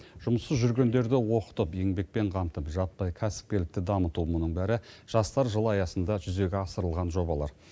жұмыссыз жүргендерді оқытып еңбекпен қамтып жаппай кәсіпкерлікті дамыту мұның бәрі жастар жылы аясында жүзеге асырылған жобалар